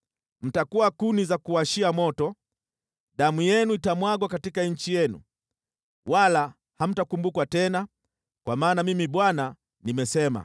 Mtakuwa kuni za kuwashia moto, damu yenu itamwagwa katika nchi yenu, wala hamtakumbukwa tena; kwa maana Mimi Bwana nimesema.’ ”